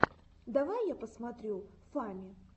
давай я посмотрю фами